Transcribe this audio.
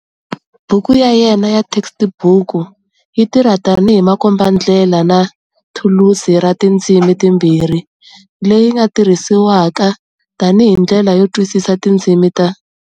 Buku ya yena ya textbook yi tirha tani hi makombandlela na thulusi ra tindzimi timbirhi leyi yi nga tirhisiwaka tani hi ndlela yo twisisa tindzimi ta.